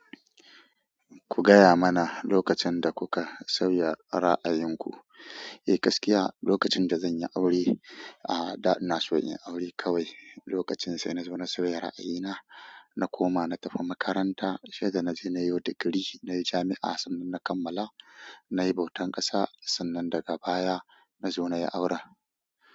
Ku gaya mana lokacin da kuka sauya ra'ayinku. Eh gaskiya, lokacin da zan yi aure, a'a da na so in yi aure kawai. Lokacin sai na zo na sauya ra'ayina, na koma na tafi makaranta sai da na je na yo digiri na yi jami'a sannan na kammala. Na yi bautan ƙasa sannan daga baya na zo na yi aure.